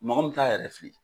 Mɔgɔ min t'a yɛrɛ fili.